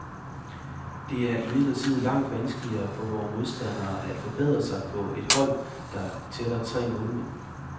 Det er imidlertid langt vanskeligere for vore modstandere at forberede sig på et hold, der tæller tre målmænd.